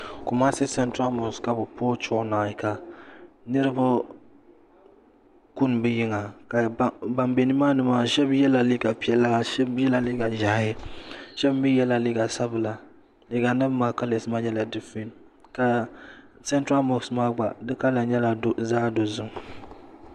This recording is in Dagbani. Kumasi central mosque ka bi puhi chuɣu naayi ka niriba kuni bi yiŋa ka ban bɛ ni maa ni maa shɛba yɛla liiga piɛla shɛba yɛla liiga ʒiɛhi shɛba mi yɛla liiga sabila liiga nim maa kalas maa nyɛla difirɛnt ka central mosque maa gba di kala nyɛla zaɣa dozim.